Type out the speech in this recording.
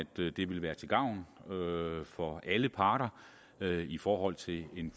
det vil være til gavn for alle parter i forhold til en